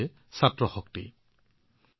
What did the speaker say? শিক্ষাৰ্থী শক্তি হৈছে ভাৰতক শক্তিশালী কৰাৰ আধাৰ